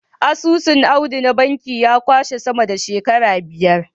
Asusun Audu na banki ya kwashe sama da shekara biyar.